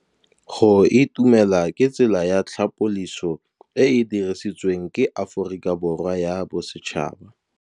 Go itumela ke tsela ya tlhapolisô e e dirisitsweng ke Aforika Borwa ya Bosetšhaba.